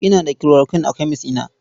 Ina da chloroquine a kemes ɗina.